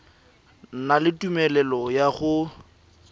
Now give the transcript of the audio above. na le tumelelo ya go